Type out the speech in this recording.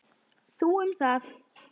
Þú um það.